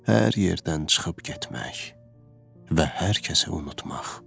Hər yerdən çıxıb getmək və hər kəsi unutmaq.